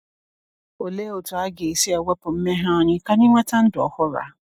Olee otu aga e si ewepụ mmehie anyị ka anyị nweta ndụ ọhụrụ a?